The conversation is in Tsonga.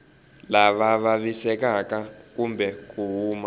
lava vavisekaka kumbe ku kuma